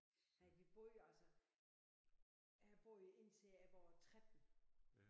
Nej vi boede jo altså her boede jeg indtil jeg var 13